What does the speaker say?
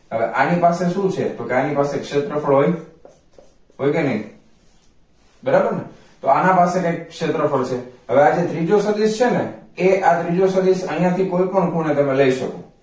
હવે આની પાસે શું છે તો કે આની પાસે ક્ષેત્રફળ હોય હોય કે નઈ બરાબરને તો આના પાસે કંઈક ક્ષેત્રફળ છે હવે આ જે ત્રીજો સદિશ છે ને એ આયા થી કોઈ પણ ખૂણે તમે લઇ શકો